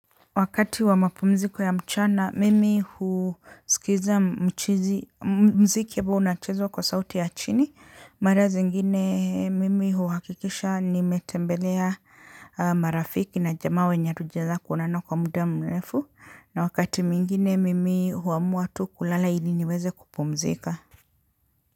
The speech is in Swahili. Wakati wa mapumziko ya mchana, mimi husikiza mchizi, mziki amabo unachezwa kwa sauti ya chini, mara zingine mimi huhakikisha nimetembelea marafiki na jamaa wenye hatujaeza kuonana kwa muda mrefu, na wakati mwingine mimi huamua tu kulala ili niweze kupumzika.